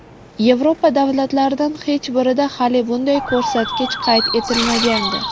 Yevropa davlatlaridan hech birida hali bunday ko‘rsatkich qayd etilmagandi.